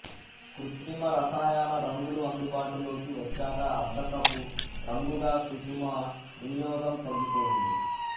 కృత్రిమ రసాయన రంగులు అందుబాటులోకి వచ్చాక అద్దకపు రంగుగా కుసుమ వినియోగం తగ్గిపోయింది